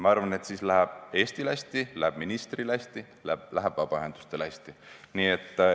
Ma arvan, et siis läheb Eestil hästi, läheb ministril hästi, läheb vabaühendustel hästi.